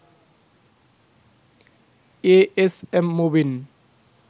as M Mubin